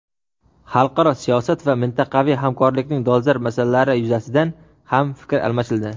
Xalqaro siyosat va mintaqaviy hamkorlikning dolzarb masalalari yuzasidan ham fikr almashildi.